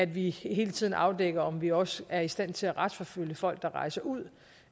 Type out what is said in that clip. vi hele tiden afdækker om vi også er i stand til at retsforfølge folk der rejser ud